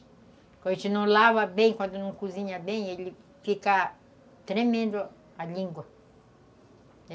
Quando a gente não lava bem, quando não cozinha bem, ele fica tremendo a língua.